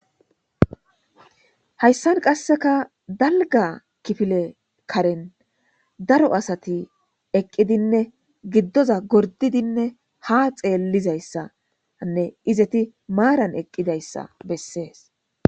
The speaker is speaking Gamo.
hayssan qasseka dalga kifile karen daro asati eqqidinne giddoza gordidinne ha xeellizayssa anne izeti maaran eqqidayssa bessees